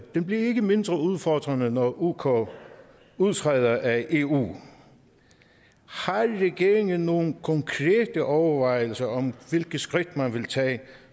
bliver ikke mindre udfordrende når uk udtræder af eu har regeringen nogen konkrete overvejelser om hvilke skridt man vil tage